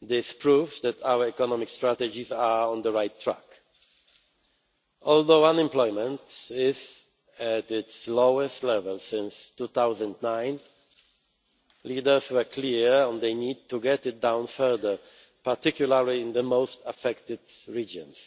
This proves that our economic strategies are on the right track. Although unemployment is at its lowest level since 2009, leaders were clear on the need to get it down further, particularly in the most affected regions.